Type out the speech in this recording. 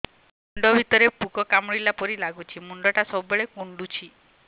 ମୁଣ୍ଡ ଭିତରେ ପୁକ କାମୁଡ଼ିଲା ପରି ଲାଗୁଛି ମୁଣ୍ଡ ଟା ସବୁବେଳେ କୁଣ୍ଡୁଚି